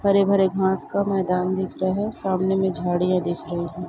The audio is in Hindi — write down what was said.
हरे भरे घास का मैदान दिख रहा है सामने में झाड़िया दिख रही है ।